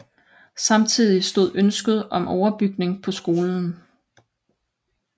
Samtidig opstod ønsket om overbygning på skolen